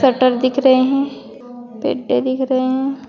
Shutter दिख रहे हैं पेड्डे दिख रहे हैं।